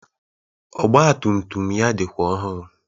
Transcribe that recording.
Ọgbatumtum ya dịkwa ọhụrụ